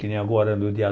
Que nem agora, no dia